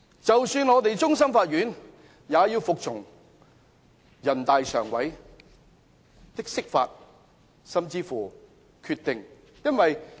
即使香港的終審法院，也要服從人大常委會釋法及決定。